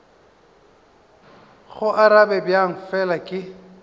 go arabe bjang fela ke